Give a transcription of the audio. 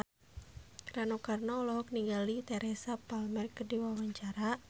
Rano Karno olohok ningali Teresa Palmer keur diwawancara